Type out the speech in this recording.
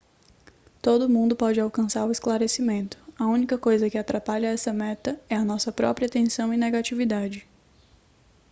todo mundo pode alcançar o esclarecimento a única coisa que atrapalha essa meta é a nossa própria tensão e negatividade